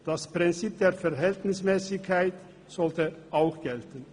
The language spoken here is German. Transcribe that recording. Das Prinzip der Verhältnismässigkeit sollte auch gelten.